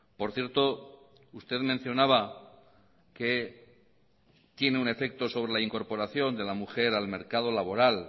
por cierto usted mencionaba que tiene un efecto sobre la incorporación de la mujer al mercado laboral